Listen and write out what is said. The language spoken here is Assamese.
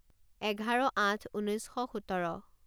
এঘাৰ আঠ ঊনৈছ শ সোতৰ